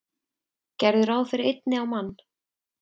Gerðu ráð fyrir einni á mann.